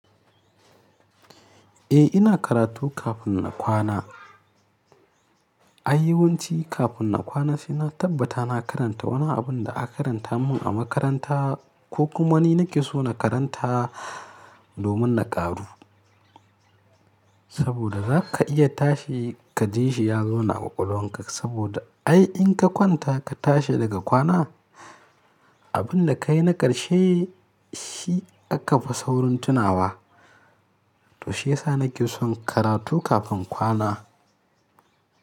Eh, ina karatu kafin na kwana. Ai yawanci kafin na kwana sai na tabbata na karanta wani abun da aka karanta mun a makaranta ko kuma wani nake so na karanta domin na ƙaru. Saboda zaka iya tashi kaje shi y nuna a ƙwaƙwalwanka saboda ai in ka kwanta ka tashi daga kwana, abun da ka yi na ƙarshe shi aka fi saurin tunawa. To shi yasa nake son karatu kafin kwana.